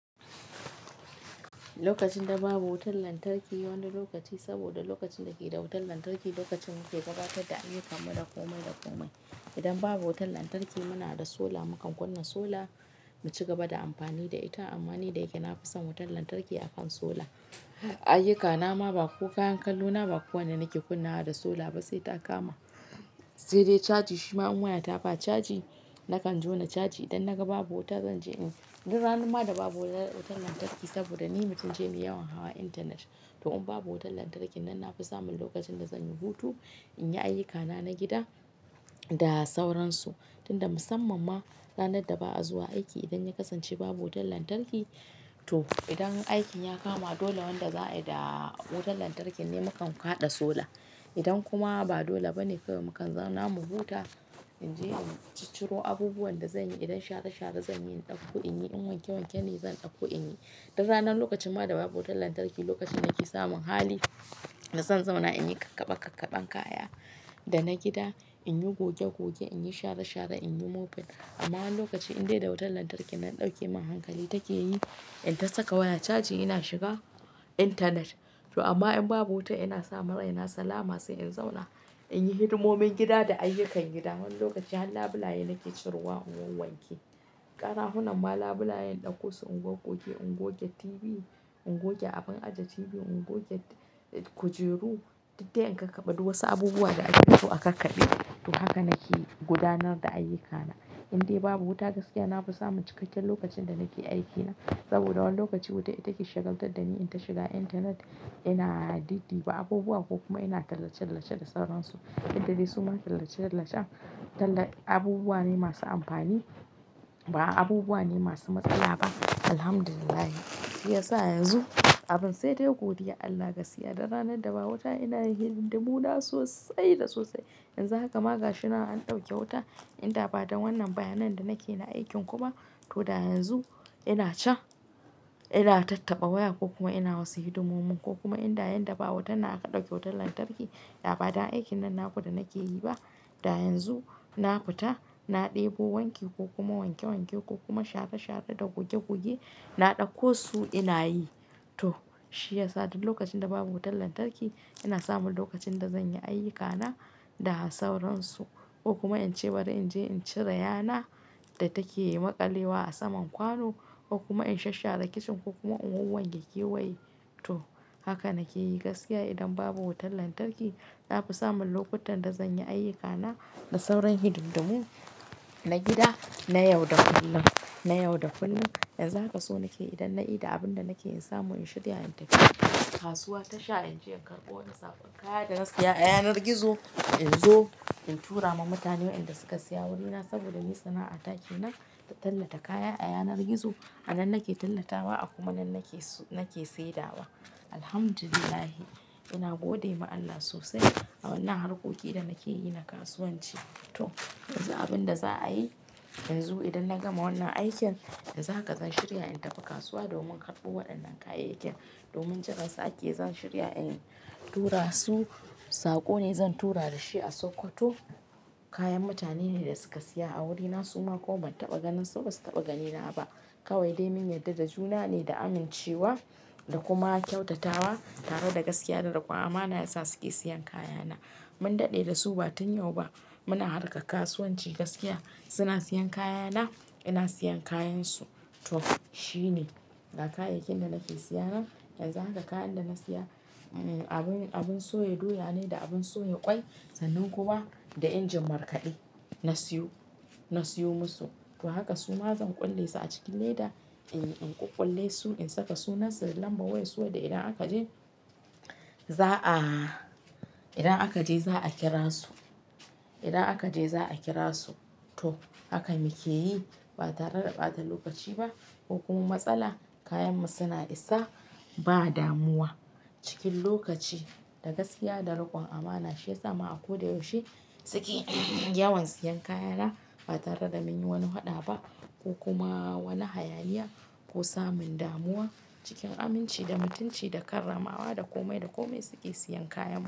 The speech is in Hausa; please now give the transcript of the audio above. Lokacin da babu wutar lantarki, wani lokaci saboda lokacin da ke da wutar lantarki lokacin muke gabatar da ayyukan mu da komai da komai. Idan babu wutar lantarki muna da sola, mu kan kunna sola mu ci gaba da amfani da ita. Amma ni da yake na fi son wutar lantarki akan sola, ayyukana ma ba ko kayan kallona ba kowane nake kunnawa da sola ba sai ta kama. Sai dai caji shima in wayata ba caji. Nakan jona caji idan na ga babu wuta zan je in. Dan ranan ma da babu wutar lantarki saboda ni mutumce ne yawan hawa intanet. To in babu wutar lantarki nan na fi samun lokacin da zan yi hutu, in yi ayyukana na gida da sauransu. Tun da musamman ma ranar da ba'a zuwa aiki idan ya kasance babu wutar lantarki. To idan aikin ya kama dole wanda za'a yi da wutar lantarkin ne mu kan kaɗa sola. Idan kuma ba dole ba ne kawai mu kan zauna mu huta, in je in cicciro abubuwan da zanyi idan share share zanyi in ɗauko in yi, in wanke wanke ne zan ɗauko in yi. Dan ranan lokacin ma da babu wutar lantarki lokacin nake samun hali na son zauna in yi kakkaɓe kakkaɓen kaya da na gida, in yi goge goge, in yi share share, in yi mopping. Amma wani lokaci in dai da wutar lantarki nan ɗauke min hankali take yi, in ta saka waya caji ina shiga intanet. To amma in babu wuta ina samun raina salama sai in zauna in yi hidimomin gida da ayyukan gida. Wani lokaci har labulaye nake cirowa in wanke. Ƙarahunan ma labulaye in ɗauko su in goggoge, in goge TV, in goge abun aje TV, in goge kujeru, duk dai in kakkaɓe duk wasu abubuwa da ake so a kakkaɓe. To haka nake gudanar da ayyukana. In dai babu wuta gaskiya na fi samun cikakken lokacin da nake aikina. Saboda wani lokaci wutan ita ke shagaltar da ni in ta shiga intanet ina diddiba abubuwa ko kuma ina tallace tallace da sauransu. Duk da dai su ma tallace tallacen talla abubuwa ne masu amfani ba abubuwa ne masu matsala ba. Alhamdulillahi, shiyasa yanzu abun sai dai godiyar Allah gaskiya don ranar da babu wuta ina yin hidindimu na sosai da sosai. Yanzu haka ma gashinan an ɗauke wuta, in da ba dan wannan bayan nan da nake na aikin ku ba. To da yanzu ina can ina tattaba waya ko kuma ina wasu hidimomin ko kuma in da yan da babu wutan nan aka ɗauke wutar lantarki. Da ba dan aikin nan naku da nake yi ba. Da yanzu na futa, na ɗebo wanki ko kuma wanke wanke ko kuma share share da goge goge na ɗauko su ina yi. To shiyasa duk lokacin da babu wutar lantarki ina samun lokacin da zan yi ayyukana da sauransu ko kuma in ce bari inje in cire yana da take maƙalewa a saman kwano ko kuma in shasshare kicin ko kuma in wanwanke kewaye. To haka nake yi gaskiya idan babu wutar lantarki na fi samun lokutan da zan yi ayyukana da sauran hididdumun na gida na yau da kullum, na yau da kullum. Yanzu haka so nake idan na ida abin da nake in samu in shirya in tafi kasuwa tasha in je in karɓo wani saƙon kaya da na saya a yanar gizo in zo in tura ma mutane wa'inda suka saya wurina saboda ni sana'ata ke nan ta tallata kaya a yanar gizo. A nan nake tallatawa a kuma nan nake nake saidawa. Alhamdulillah ina gode ma Allah sosai a wannan harkokin da nake yi na kasuwanci. To yanzu abin da za'a yi yanzu idan na gama wannan aikin, yanzu haka zan shirya in tafi kasuwa domin karɓo waɗannan kayayyakin. Domin jiran su ake zan shirya in tura su. Saƙo ne zan tura da shi a sokoto. Kayan mutane ne da suka saya a wurina suma kuma ban taɓa ganin su ba su taɓa ganina ba. Kawai dai mun yarda da juna ne da amincewa da kuma kyautatawa tare da gaskiya da riƙon amana yasa suke siyan kayana. Mun daɗe da su ba tun yau ba. Muna harka kasuwanci gaskiya. Suna siyan kayana, ina siyan kayansu. To shine ga kayayyakin da nake sayanan. Yanzu haka kayan da na saya, abin abin soya doya ne da abin soya ƙwai sannan kuma da injin markaɗe. Na siyo, na siyo musu. To haka suma zan ƙulle su a cikin leda in in ƙuƙƙulle su in saka sunan su da lambar wayan su wanda idan aka je za'a idan aka je za'a kira su. Idan aka je za'a kira su. To haka muke yi ba tare da ɓata lokaci ba ko kuma matsala. Kayanmu suna isa ba damuwa cikin lokaci da gaskiya da riƙon amana shiyasa ma a ko da yaushe suke yawan siyan kayana ba tare da mun yi wani faɗa ba ko kuma wani hayaniya ko samun damuwa cikin aminci da mutunci da karramawa da komai da komai suke siyan kayanmu.